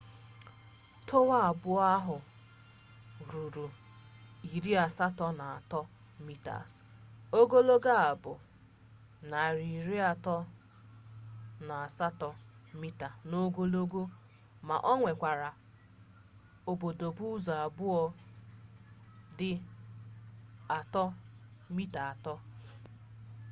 towa abuo ahu rigoro 83 meters ogologo o bu 378 meters n'ogologo ma o nwekwara obodobo uzo abuo di 3.50m